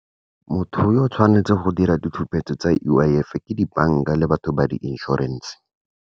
Motho yo tshwanetseng go dira ditshupetso tsa U_I_F, ke dibanka le batho ba di inšorense.